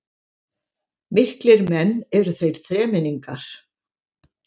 Miklir menn eru þeir þremenningar